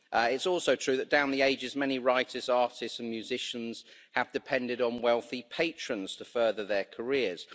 It's also true that down the ages many writers, artists and musicians have depended on wealthy patrons to further their careers.